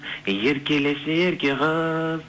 еркелеші ерке қыз